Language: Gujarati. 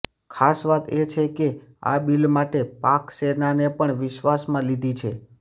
ખાસ વાત એ છે કે આ બિલ માટે પાક સેનાને પણ વિશ્વાસમાં લીધી છે